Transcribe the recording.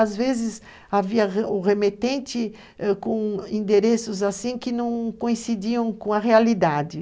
Às vezes, havia o remetente com endereços assim que não coincidiam com a realidade.